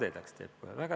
Kadedaks teeb kohe!